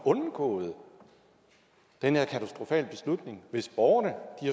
undgået den her katastrofale beslutning hvis borgerne